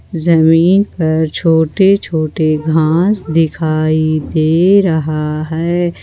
जमीन पर छोटे छोटे घास दिखाई दे रहा है।